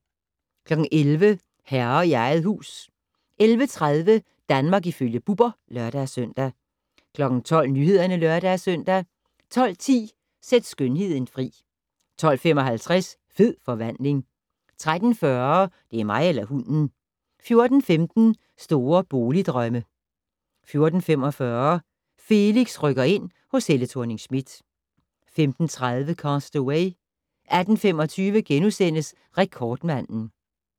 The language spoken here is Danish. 11:00: Herre i eget hus 11:30: Danmark ifølge Bubber (lør-søn) 12:00: Nyhederne (lør-søn) 12:10: Sæt skønheden fri 12:55: Fed forvandling 13:40: Det er mig eller hunden 14:15: Store boligdrømme 14:45: Felix rykker ind - hos Helle Thorning-Schmidt 15:30: Cast Away 18:25: Rekordmanden *